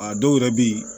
A dɔw yɛrɛ bɛ ye